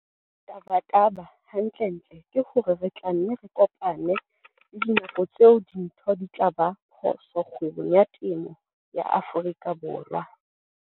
Tabataba hantlentle ke hore re tla nne re kopane le dinako tseo dintho di tla ba phoso kgwebong ya temo Afrika Borwa.